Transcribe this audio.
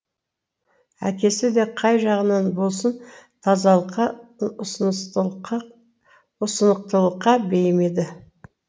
әкесі де қай жағынан болсын тазалыққа ұсынықтылыққа бейім еді